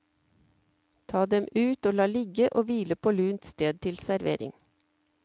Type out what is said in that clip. Ta dem ut og la ligge og hvile på lunt sted til servering.